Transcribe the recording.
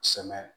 Sɛmɛ